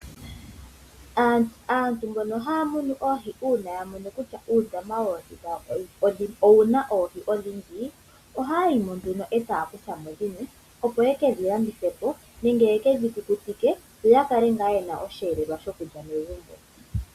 Aantu mbono haya munu oohi uuna yamono kutya uundama woohi dhawo owuna oohi odhindji ohaya yimo nduno etaya kuthamo dhimwe opo yekedhi landithepo nenge yekedhi kukutike yo yakala ngaa yena osheelelwa sho kulya megumbo.